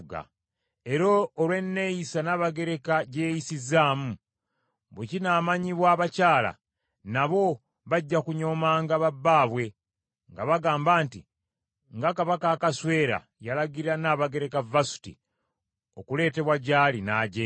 Era olw’enneeyisa Nnabagereka gye yeeyisizaamu, bwe kinaamanyibwa abakyala, nabo bajja kunyoomanga ba bbaabwe nga bagamba nti, ‘Nga Kabaka Akaswero yalagira Nnabagereka Vasuti okuleetebwa gy’ali, n’ajeema.’